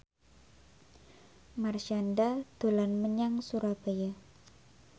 Marshanda dolan menyang Surabaya